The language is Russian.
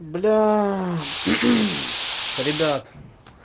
бля ребят